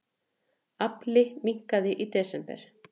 Afli minnkaði í desember